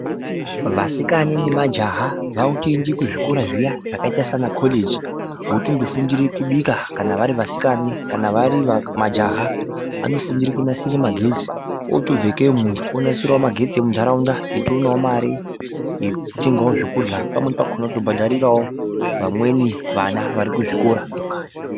Vasikana nemajaha vakuende kuzvikora zviya zvakaita semakoreji votondofundire kubika kana vari vasikana kana vari va majaha anofundire kunasire magetsi otobve ikeyo muntu onasirao magetsi emuntaraunda echionao mare yekutengao zvekurya pamweni pakona nekutobhadharirawo vamweni vana vari kuzvikora